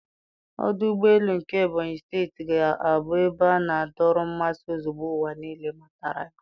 Ọdụ ụgbọ elu nke Ebonyị steeti ga-abụ ebe na-adọrọ mmasị ozugbo ụwa niile matara ya.